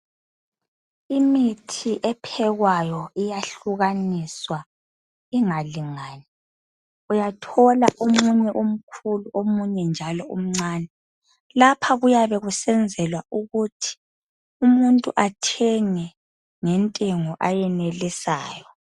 Imithi ephekwayo iyahlukaniswa ingalingani. Uyathola omunye umkhulu omunye njalo umncane. Lapha kuyabe kusenzelwa ukuthi umuntu athenge ngentengo ayenelisayo.